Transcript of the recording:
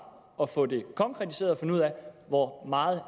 at få det konkretiseret og finde ud af hvor meget